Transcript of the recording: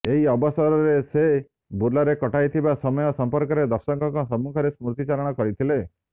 ଏହି ଅବସରରେ ସେ ବୁର୍ଲାରେ କଟାଇଥିବା ସମୟ ସଂପର୍କରେ ଦର୍ଶକଙ୍କ ସମ୍ମୁଖରେ ସ୍ମୃତିଚାରଣ କରିଥିଲେ